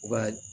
U b'a